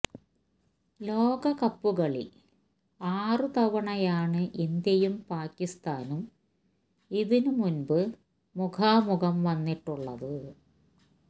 ലോകകപ്പുകളിൽ ആറ് തവണയാണ് ഇന്ത്യയും പാകിസ്ഥാനും ഇതിന് മുമ്പ് മുഖാമുഖം വന്നിട്ടുള്ളത്